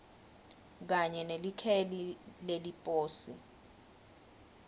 kanye nelikheli leliposi